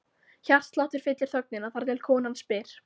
Hjartsláttur fyllir þögnina, þar til konan spyr